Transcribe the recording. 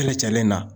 Kɛlɛcɛlen na